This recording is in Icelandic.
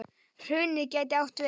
Hrunið gæti átt við